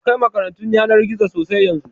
Akwai makarantun yanar gizo sosai yanzu